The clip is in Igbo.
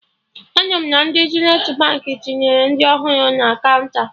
Anụrụ m na ndị Zenithi Baankị tinyere ndị ọhụrụ na kaụnta